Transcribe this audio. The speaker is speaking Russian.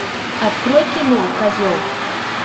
открой кино козел